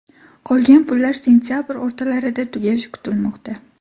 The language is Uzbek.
Qolgan pullar sentabr o‘rtalarida tugashi kutilmoqda.